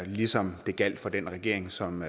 ligesom det gjaldt for den regering som